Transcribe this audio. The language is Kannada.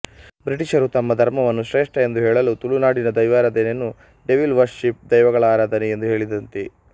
ಬ್ರಿಟಿಷರು ತಮ್ಮ ಧರ್ಮವನ್ನು ಶ್ರೇಷ್ಠ ಎಂದು ಹೇಳಲು ತುಳುನಾಡಿನ ದೈವರಾಧನೆಯನ್ನು ಡೆವಿಲ್ ವರ್ಷಿಪ್ ದೆವ್ವಗಳ ಆರಾಧನೆ ಎಂದು ಹೇಳಿದಂತೆ